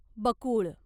बकुळ